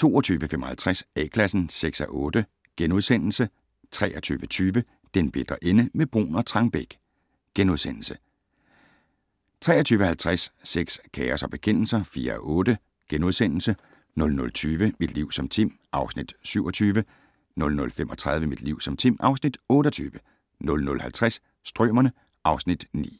22:55: A-Klassen (6:8)* 23:20: Den bitre ende - med Bruun og Trangbæk * 23:50: Sex, kaos og bekendelser (4:8)* 00:20: Mit liv som Tim (Afs. 27) 00:35: Mit liv som Tim (Afs. 28) 00:50: Strømerne (Afs. 9)